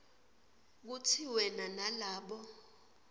kutsi wena nalabo